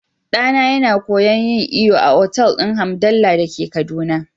Ɗana yana koyon yin iyo a otal din Hamdalla dake kaduna.